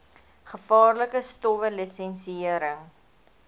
gevaarlike stowwe lisensiëring